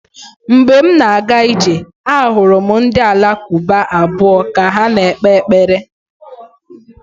Mgbe m na-aga ije, ahụrụ m ndị Alakụba abụọ ka ha na-ekpe ekpere.